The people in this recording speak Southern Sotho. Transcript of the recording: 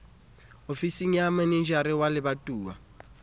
ofising ya manejara wa lebatowa